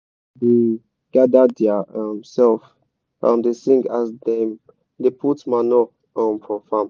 women da gada dia um sef um da sing as dem da put manure um for farm